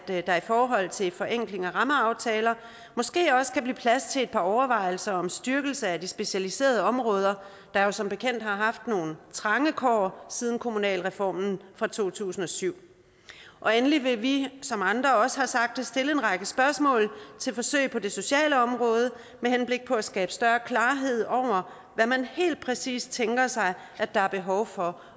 jeg at der i forhold til en forenkling af rammeaftaler måske også kan blive plads til par overvejelser om en styrkelse af de specialiserede områder der som bekendt har haft nogle trange kår siden kommunalreformen fra to tusind og syv og endelig vil vi som andre også har sagt stille en række spørgsmål til forsøgene på det sociale område med henblik på at skabe større klarhed over hvad man helt præcis tænker sig at der er behov for